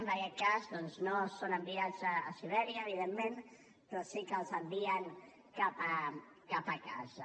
en aquest cas doncs no són enviats a sibèria evidentment però sí que els envien cap a casa